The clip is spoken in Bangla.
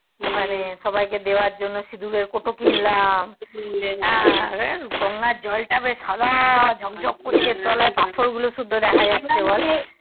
ওখানে সবাইকে দেয়ার জন্য সিঁদুর কটু কিনলাম হ্যা অরে গঙ্গার জল টা বেশ সাদা জোক জোক করছে তোলার পাথর গুলা শুদ্ধ দেখা যাচ্ছে বল